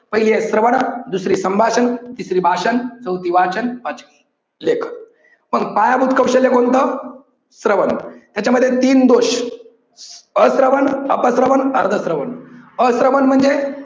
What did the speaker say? पहिली आहे श्रवण दुसरी संभाषण तिसरी आहे भाषण चौथी वाचन पाचवी लेखन. पण पायाभूत कौशल्य कोणतं? श्रवण याच्यामध्ये तीन दोष. अश्रवन, अप श्रवण, अर्ध श्रवण. अश्रवन म्हणजे